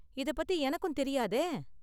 இதப் பத்தி எனக்கும் தெரியாதே.